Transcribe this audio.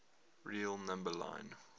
real number line